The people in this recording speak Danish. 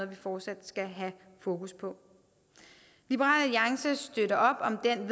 vi fortsat skal have fokus på liberal alliance støtter op om den